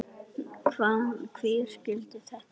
Hver skildi þetta unga fólk?